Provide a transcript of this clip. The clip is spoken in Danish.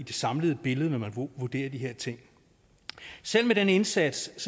samlede billede når man vurderer de her ting selv med den indsats